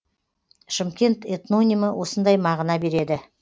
шымкент этнонимі осындай мағына береді